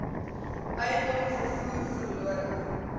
eiendomme vervoer verlore